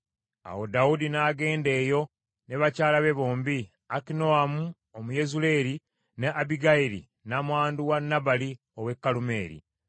Awo Dawudi n’agenda eyo ne bakyala be bombi, Akinoamu Omuyezuleeri ne Abbigayiri nnamwandu wa Nabali ow’e Kalumeeri.